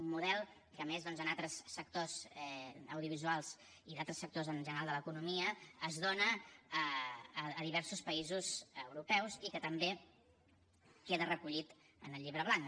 un model que a més doncs en altres sectors audiovisuals i d’altres sectors en general de l’economia es dona a diversos països europeus i que també queda recollit en el llibre blanc